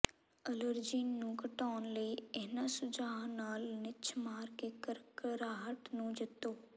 allergen ਨੂੰ ਘਟਾਉਣ ਲਈ ਇਨ੍ਹਾਂ ਸੁਝਾਆਂ ਨਾਲ ਨਿੱਛ ਮਾਰ ਕੇ ਘਰਘਰਾਹਟ ਨੂੰ ਜਿੱਤੋ